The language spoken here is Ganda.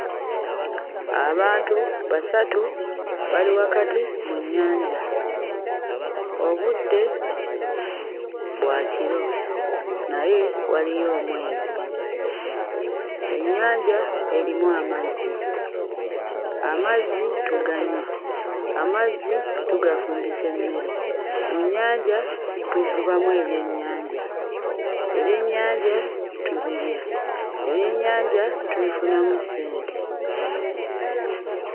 Abantu basatu bali wakati mu nnyanja. Obudde bwa kiro naye waliyo omwezi ennyanja erimu amazzi, amazzi tuganywa, amazzi tugafumbisa emmere, mu nnyanja tuvubamu ebyennyanja, ebyennyanja tubirya, ebyennyanja tubifunamu ssente.